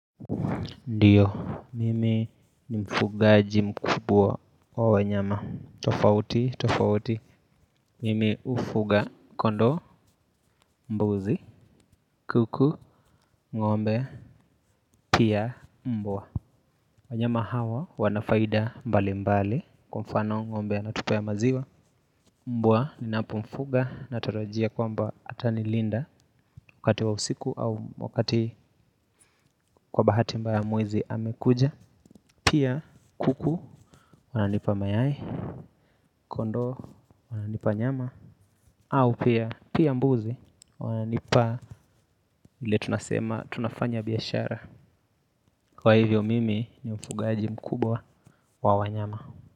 Ndiyo, mimi ni mfugaji mkubwa wa wanyama tofauti tofauti. Mimi hufuga kondoo, mbuzi. Kuku, ng'ombe, pia mbwa. Wanyama hawa wanafaida mbali mbali. Kwa mfano ng'ombe anatupa maziwa. Mbwa ninapomfuga natarajia kwamba atanilinda. Wakati wa usiku au wakati kwa bahati mbaya mwizi amekuja. Pia kuku wananipa mayai. Kondo wananipa nyama. Au pia pia mbuzi wananipa ile tunasema tunafanya biashara. Kwa hivyo mimi ni mfugaji mkubwa wa wanyama.